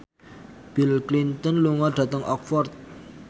Bill Clinton lunga dhateng Oxford